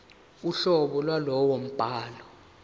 uhlobo lwalowo mbhalo